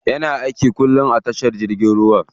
Yana aiki kullum a tashar jirgin ruwa.